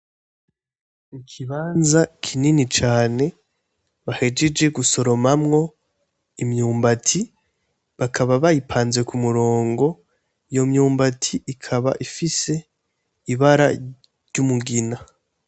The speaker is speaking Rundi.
Ikibanza kinini cane bahejeje gusoromamwo imyumbati bakaba bayipanze k'umurongo iyo myumbati ikaba ifise ibara ry'umugina.